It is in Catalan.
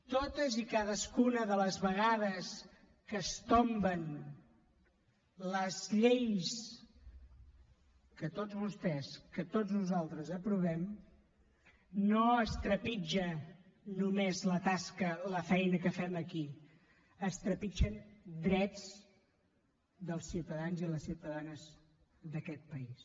totes i cadascuna de les vegades que es tomben les lleis que tots vostès que tots nosaltres aprovem no es trepitja només la tasca la feina que fem aquí es trepitgen drets dels ciutadans i les ciutadanes d’aquest país